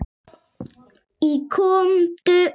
Í Komdu út!